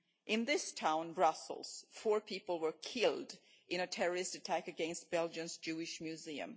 In this city, Brussels, four people were killed in a terrorist attack against Belgium's Jewish Museum.